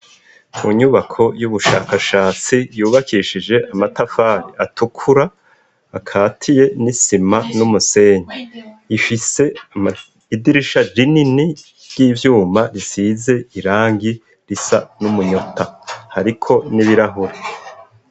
Ku nyubako y'ubushakashatsi yubakishije amatafari atukura akatiye n'isima n'umusenyi. Ifise idirisha rinini ry'ivyuma risize irangi risa n'umunyota. Hariko nibirahure.